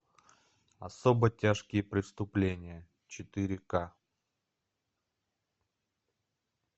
особо тяжкие преступления четыре к